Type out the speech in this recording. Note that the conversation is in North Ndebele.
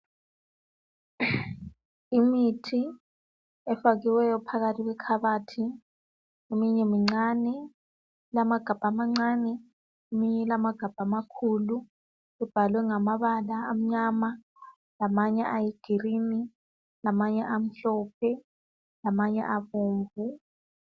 Imithi efakiweyo phakathi kwekhabathi eminye mincane ilamagabha amncane, eminye ilamagabha amakhulu. Ibhaliwe ngamabala amnyama lamanye aluhlaza, lamanye amhlophe, lamanye abomvu